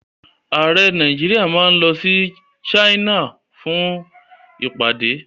Ààrẹ Nàìjíríà máa lọ sí China fún ìpàdé.